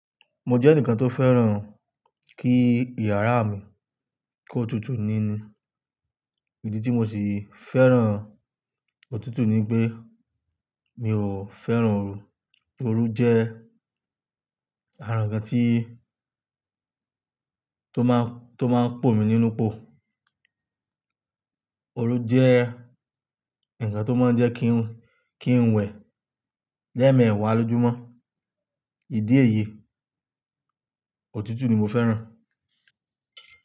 Mo jẹ́ ẹnìkan tó fẹ́ràn kí iyàrá mi kó tutù nini. Ìdí tí mo sì fẹ́ràn òtútù ni pé mi ò fẹ́ràn oru. Oru jẹ́ àrà ǹkan tí, tó máa, tó máa ń pò mi nínú pò. Oru jẹ́ ǹkan tó máa ń jẹ́ kí n, kí n wẹ lẹ́ẹ̀ẹ̀meẹ́wàá lójúmọ́. Ìdí èyí, òtútù ni mo fẹ́ràn.